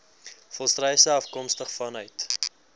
volstruise afkomstig vanuit